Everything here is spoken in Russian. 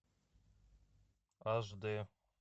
аш дэ